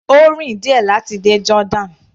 Ó rìn díẹ̀ láti dé Jordan.